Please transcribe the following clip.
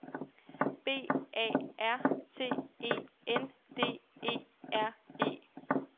B A R T E N D E R E